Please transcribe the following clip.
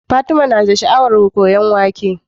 Fatima na da sha'awar koyan waƙe